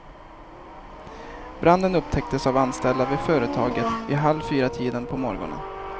Branden upptäcktes av anställda vid företaget vid halv fyratiden på morgonen.